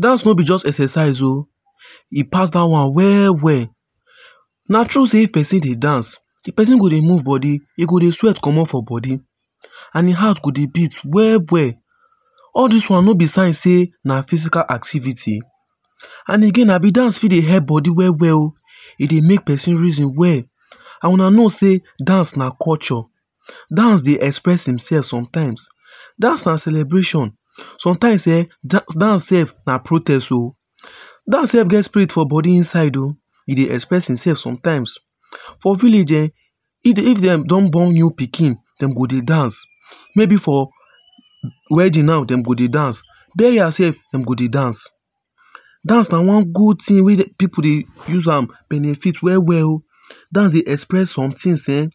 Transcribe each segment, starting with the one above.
Dance no be just exercise o E pass that one well well. Na true say if person dey dance, di person go dey move body. E go dey sweat comot for body. And im heart go dey beat well well. All this one no be sign say na physical activity. And again abi dance fit dey help body well well o E dey make person reason well. And Una know sey dance na culture. Dance dey express im self sometime dance na celebration. Sometimes um dance self na protest o Dance self get spirit for body inside o. E dey express imself sometimes. For village um, if if dem don born new pikin, Dem go dey dance, maybe for wedding now dem go dey dance. Burial sef, dem go dey dance. Dance na one good thing wey people dey use am benefit well well o. Dance dey express somethings um.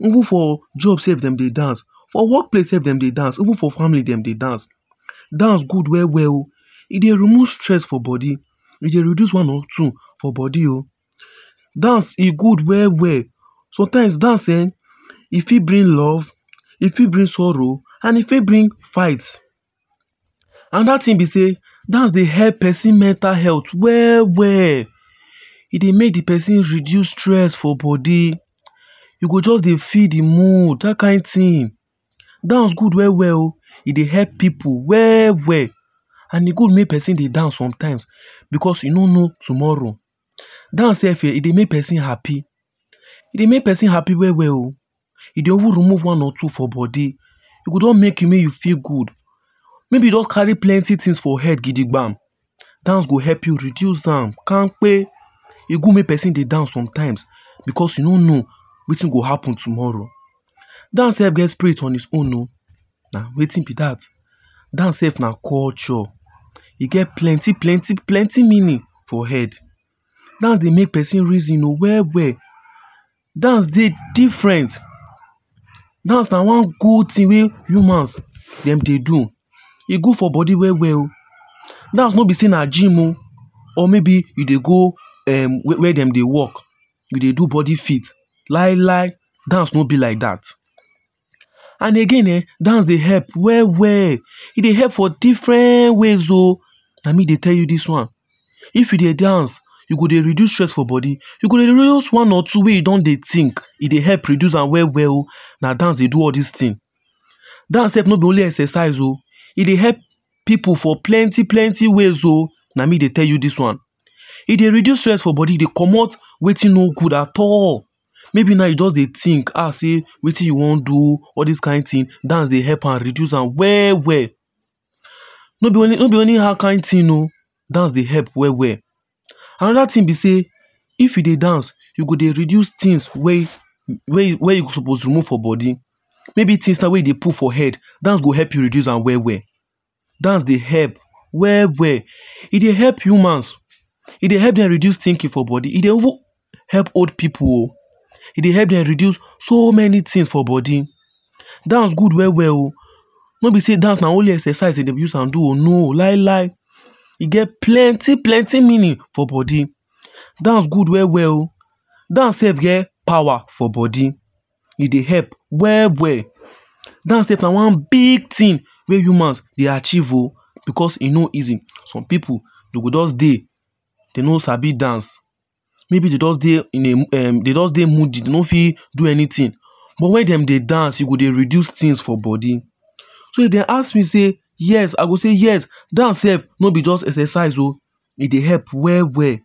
Even for jobs self dem dey dance, for work place self dem dey dance even for family dem dey dance. Dance good well well o. E dey remove stress for body. E dey reduce one or two for body o Dance e good well well. Sometimes, dance um, e fit bring love, e fit bring sorrow, and e fit bring fight. Another thing be say, dance dey help person mental health well well. E dey make di person reduce stress for body you go just dey feel di mood, that kind thing. Dance good well well o. E dey help people well well. And E good make person dey dance sometimes because e no know tomorrow. Dance self, e dey make person happy. E dey make person happy well well o e dey even remove one or two for body. E go don make make you feel good. Maybe you don carry plenty things for head gidigbam, dance go help you reduce am kampe. E good make person dey dance sometimes because you no know wetin go happen tomorrow. Dance self get spirit on its own o. Na wetin be that. Dance self na culture. E get plenty plenty plenty meaning for head. Dance dey make person reason o well well. Dance dey different. Dance na one good thing wey humans dem dey do. E good for body well well o Dance no be say na gym o or maybe e dey go wey dem dey work, you dey do body fit. Lai lai! Dance no be like that. And again um, dance dey help well well, e dey help for different ways o. Na me dey tell you this one. If you dey dance, e go dey reduce stress for body, you go dey release one or two wey you don dey think, e dey help dey reduce am well well o Na dance dey do all this things. Dance self no be only exercise o e dey help people for plenty plenty ways o Na me dey tell you this one. E dey reduce stress for body, e dey comot wetin not good at all. Maybe now e just dey think um say wetin you wan do all this kind thing, dance dey help am reduce am well well. No be only no be only that kind thing oh, dance dey help well well. Another thing be say, if you dey dance, you go dey reduce things wey wey you wey you suppose remove for body maybe things now wey you dey put for head. Dance go help you reduce am well well. Dance dey help well well E dey help humans, e dey help dem reduce thinking for body. E dey even help old people oh. E dey help dem reduce so many things for body. Dance good well well o. No be say dance na only exercise dem dey use am do it. lailai! E get plenty plenty meaning for body. Dance good well well o. Dance self get power for body. E dey help well well. Dance self na one big thing wey humans dey achieve o because e no easy. Some pipu dey go just dey dey no sabi dance maybe dey just dey in a um dey just dey moody dey no fit do anything but when dem dey dance, e go dey reduce things for body. So if dem ask me say, yes i go just say yes, dance self no be just exercise o e dey help well well.